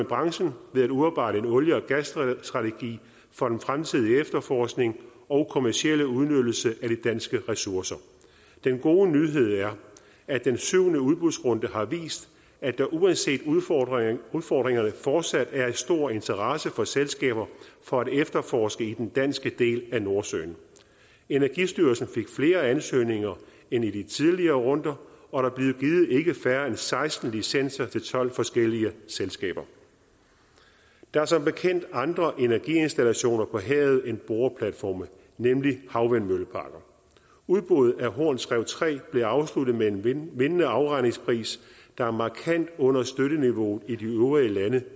branchen ved at udarbejde en olie og gasstrategi for den fremtidige efterforskning og kommercielle udnyttelse af de danske ressourcer den gode nyhed er at den syvende udbudsrunde har vist at der uanset udfordringerne udfordringerne fortsat er en stor interesse hos selskaberne for at efterforske i den danske del af nordsøen energistyrelsen fik flere ansøgninger end i de tidligere runder og der blev givet ikke færre end seksten licenser til tolv forskellige selskaber der er som bekendt andre energiinstallationer på havet end boreplatforme nemlig havvindmølleparker udbuddet af horns rev tre blev afsluttet med en vindende vindende afregningspris der er markant under støtteniveauet i de øvrige lande